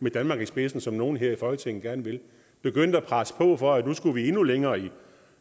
med danmark i spidsen som nogle her i folketinget gerne vil begyndte at presse på for at nu skulle vi endnu længere i